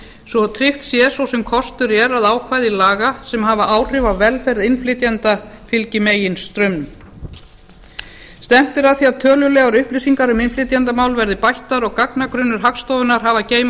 svo tryggt sé svo sem kostur er að ákvæði laga sem hafa áhrif á velferð innflytjenda fylgi meginstraumnum stefnt er að því að tölulegar upplýsingar um innflytjendamál verði bættar og gagnagrunnur hagstofunnar hafi að geyma